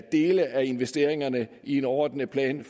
dele af investeringerne i en overordnet plan i